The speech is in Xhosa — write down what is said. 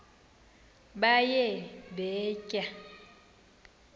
baye bee tyaa